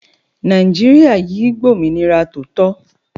Naijiria yìí gb'ominira tòótọ